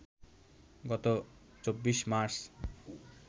গত ২৪ মার্চ